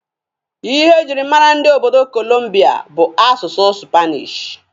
Ihe e jiri mara ndị obodo kolumbia bụ asụsụ supanishi.